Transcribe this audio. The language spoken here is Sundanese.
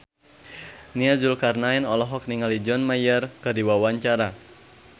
Nia Zulkarnaen olohok ningali John Mayer keur diwawancara